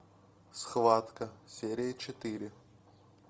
схватка серия четыре